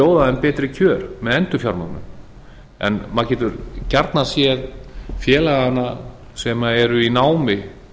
bjóða þeim betri kjör með endurfjármögnun en maður getur gjarnan séð félagana sem eru í námi